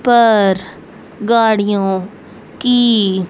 पर गाड़ियों की--